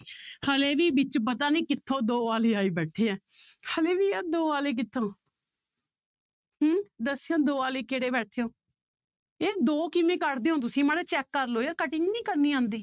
ਹਾਲੇ ਵੀ ਵਿੱਚ ਪਤਾ ਨੀ ਕਿੱਥੋਂ ਦੋ ਵਾਲੇ ਆਏ ਬੈਠੇ ਹੈ ਹਾਲੇ ਵੀ ਯਾਰ ਦੋ ਵਾਲੇ ਕਿੱਥੋਂ ਹਮ ਦੱਸਿਓ ਦੋ ਵਾਲੇ ਕਿਹੜੇ ਬੈਠੇ ਹੋ, ਇਹ ਦੋ ਕਿਵੇਂ ਕੱਢਦੇ ਹੋ ਤੁਸੀਂ ਮਾੜਾ ਜਿਹਾ check ਕਰ ਲਓ ਯਾਰ cutting ਨੀ ਕਰਨੀ ਆਉਂਦੀ।